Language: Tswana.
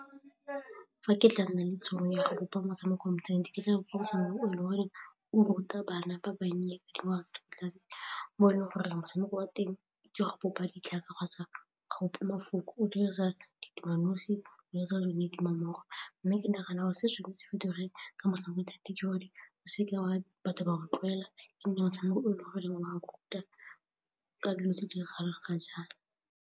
Fa ke tla nna le tšhono ya go bopa motshameko wa mo inthaneteng, ke tla botsolosa mongwe e le gore o ruta bana ba bannye ba dingwaga tse di kwa tlase mo e leng gore re motshameko wa teng ke ya go bopa ditlhaka kgotsa go bopa mafoko, o dirisa ditumalanosi kgotsa ditumammogo mme ke nagana gore seo se se bidiwang ka batho ba rotloetsa e nne motshameko o e le goreng ruta ka dilo tse di diragalang ga jaana.